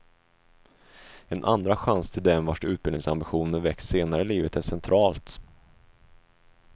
En andra chans till dem vars utbildningsambitioner väckts senare i livet är centralt.